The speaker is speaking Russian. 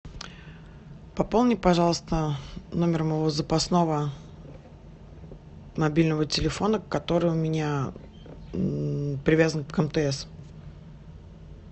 пополни пожалуйста номер моего запасного мобильного телефона который у меня привязан к мтс